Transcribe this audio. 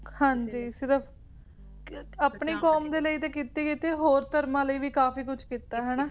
ਹਾਂ ਜੀ ਸਿਰਫ ਆਪਣੀ ਕੌਮ ਦੇ ਲਈ ਤੇ ਕੀਤੀ ਹੀ ਕੀਤੀ ਹੋਰ ਧਰਮਾਂ ਦੇ ਲਈ ਵੀ ਕਾਫੀ ਕੁਝ ਕੀਤਾ ਹੈ ਹੈ ਨਾ